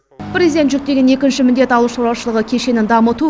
президент жүктеген екінші міндет ауыл шаруашылығы кешенін дамыту